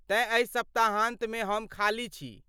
तेँ एहि सप्ताहान्तमे हम खाली छी।